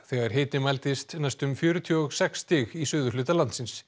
þegar hiti mældist næstum fjörutíu og sex stig í suðurhluta landsins